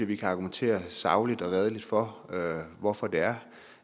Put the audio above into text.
vi kan argumentere sagligt og redeligt for hvorfor det er